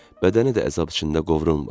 Bədəni də əzab içində qovrulmur.